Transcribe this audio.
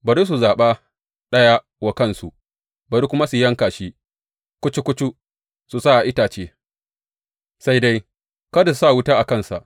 Bari su zaɓa ɗaya wa kansu, bari kuma su yanka shi kucu kucu su sa a itace, sai dai, kada su sa wuta a kansa.